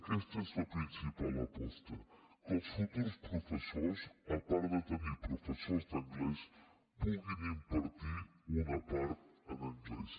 aquesta és la principal aposta que els futurs professors a part de tenir professors d’anglès puguin impartir una part en anglès